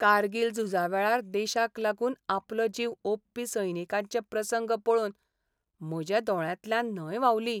कारगील झुजावेळार देशाक लागून आपलो जीव ओंपपी सैनिकांचे प्रसंग पळोवन म्हज्या दोळ्यांतल्यान न्हंय व्हांवली.